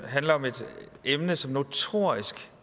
emne som notorisk